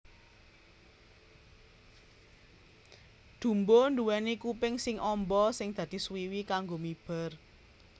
Dumbo nduwèni kuping sing amba sing dadi swiwi kanggo miber